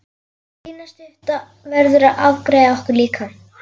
Lína stutta verður að afgreiða okkur líka.